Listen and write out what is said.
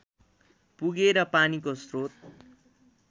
पुगे र पानीको स्रोत